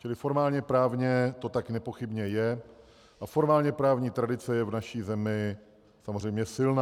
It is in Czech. Čili formálně právně to tak nepochybně je a formálně právní tradice je v naší zemi samozřejmě silná.